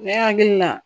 Ne hakili la